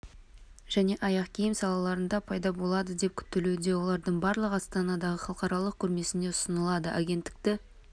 және аяқ киім салаларында пайда болады деп күтілуде олардың барлығы астанадағы халықаралық көрмесінде ұсынылады агенттікті